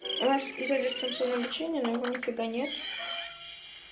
у нас идёт дистанционное обучение но его нифига нет